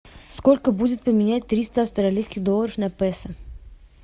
сколько будет поменять триста австралийских долларов на песо